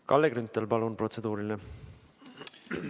Kalle Grünthal, palun, protseduuriline!